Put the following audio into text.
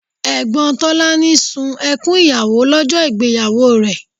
Ẹ̀gbọ́n Tolani sun ẹkún ìyàwó lọ́jọ́ ìgbéyàwó rẹ̀